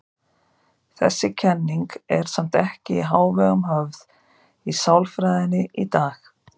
Þessi kenning er samt ekki í hávegum höfð í sálfræðinni í dag.